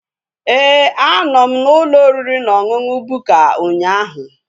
Éè, a nọ m n'ụlọ oriri na ọṅụṅụ Bukka ụnyaahụ